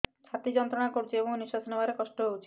ଛାତି ଯନ୍ତ୍ରଣା କରୁଛି ଏବଂ ନିଶ୍ୱାସ ନେବାରେ କଷ୍ଟ ହେଉଛି